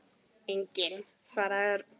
Enginn svaraði Örn.